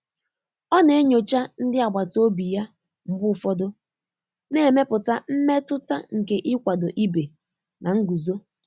Ọ́ nà-ényóchá ndị́ àgbàtà òbí yá mgbè ụ̀fọ́dụ́, nà-émépụ́tà mmétụ́tà nké nkwàdò íbé nà ngụ́zó.